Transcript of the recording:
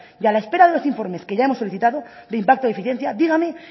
y a la espera de los informes que ya hemos solicitado de impacto y eficiencia dígame